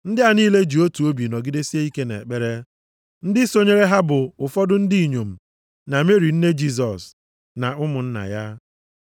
Ndị a niile ji otu obi nọgidesie ike nʼekpere. Ndị sonyere ha bụ ụfọdụ ndị inyom na Meri nne Jisọs, na ụmụnna ya.